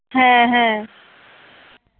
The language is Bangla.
হ্যাঁ হ্যাঁ